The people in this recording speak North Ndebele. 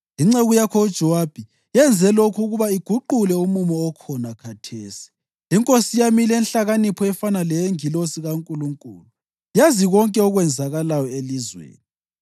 Inceku yakho uJowabi yenze lokhu ukuba iguqule umumo okhona khathesi. Inkosi yami ilenhlakanipho efana leyengilosi kaNkulunkulu yazi konke okwenzakalayo elizweni.”